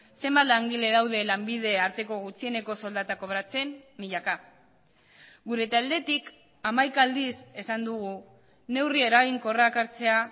zenbat langile daude lanbide arteko gutxieneko soldata kobratzen milaka gure taldetik hamaika aldiz esan dugu neurri eraginkorrak hartzea